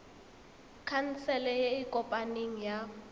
khansele e e kopaneng ya